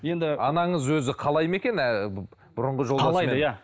енді анаңыз өзі қалайды ма екен ыыы бұрынғы қалайды иә